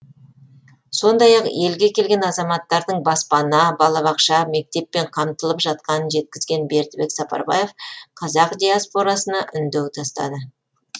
сондай ақ елге келген азаматтардың баспана балабақша мектеппен қамтылып жатқанын жеткізген бердібек сапарбаев қазақ диаспорасына үндеу тастады